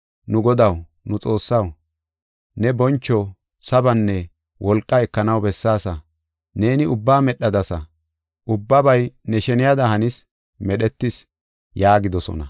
“Nu Godaw, nu Xoossaw, neeni boncho, sabanne wolqaa ekanaw bessaasa. Neeni ubbaa medhadasa; ubbabay ne sheniyada hanis, medhetis” yaagidosona.